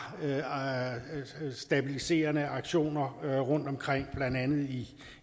stabiliserende aktioner rundtomkring blandt andet